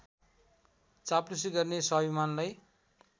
चाप्लुसी गर्ने स्वाभिमानलाई